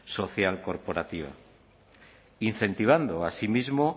social corporativa incentivando así mismo